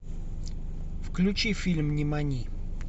включи фильм нимани